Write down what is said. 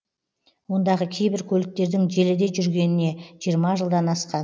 ондағы кейбір көліктердің желіде жүргеніне жиырма жылдан асқан